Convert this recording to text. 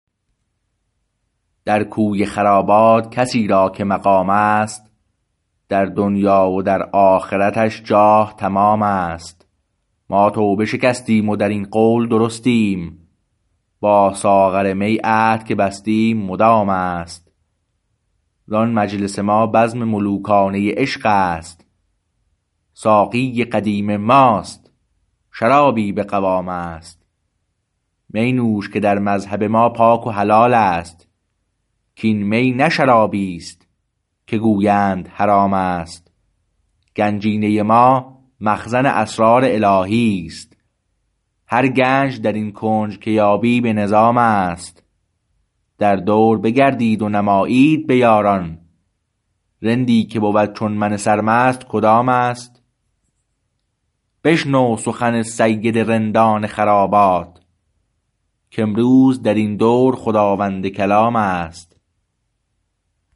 در کوی خرابات کسی را که مقام است در دنیی و در آخرتش جاه تمام است ما توبه شکستیم و در این قول درستیم با ساغر می عهد که بستیم مدام است زان مجلس ما بزم ملوکانه عشق است ساقی قدیم است و شرابی به قوام است می نوش که در مذهب ما پاک و حلال است کاین می نه شرابیست که گویند حرام است گنجینه ما مخزن اسرار الهی است هر گنج در این کنج که یابی به نظام است در دور بگردید و نمایید به یاران رندی که بود چون من سر مست کدام است بشنو سخن سید رندان خرابات کامروز در این دور خداوند کلام است